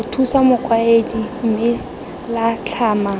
mothusa mokaedi mme la tlhama